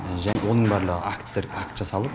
жалпы оның барлығы акттер акт жасалды